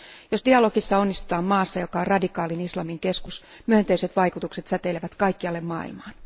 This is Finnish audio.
Jos dialogissa onnistutaan maassa, joka on radikaalin islamin keskus, myönteiset vaikutukset säteilevät kaikkialle maailmaan.